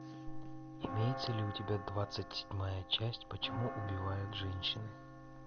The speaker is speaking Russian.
имеется ли у тебя двадцать седьмая часть почему убивают женщины